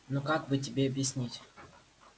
ну как бы тебе объяснить